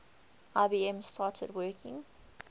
ibm started working